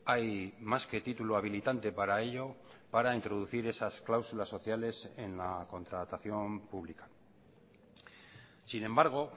hay más que título habilitante para ello para introducir esas cláusulas sociales en la contratación pública sin embargo